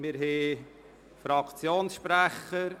Wir hören die Fraktionssprecher.